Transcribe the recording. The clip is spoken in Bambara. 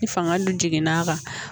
Ni fanga dun jiginn'a kan